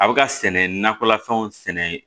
A bɛ ka sɛnɛ nakɔlafɛnw sɛnɛ